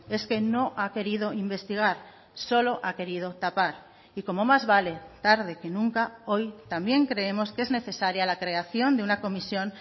es que no ha querido investigar solo ha querido tapar y como más vale tarde que nunca hoy también creemos que es necesaria la creación de una comisión